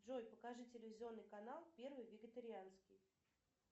джой покажи телевизионный канал первый вегетарианский